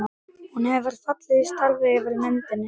Hún hefur fallið í stafi yfir myndinni.